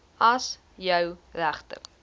as jou regte